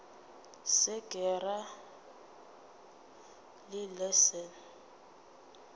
se ke ra le leset